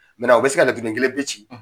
u bɛ se ka laturuden kelen pe ci